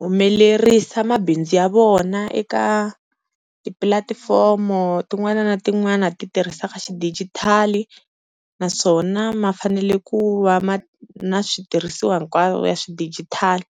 humelerisa mabindzu ya vona eka tipulatifomo tin'wana na tin'wana ti tirhisaka xidigithali, naswona ma fanele ku va ma na switirhisiwa hinkwaswo ya xidijithali.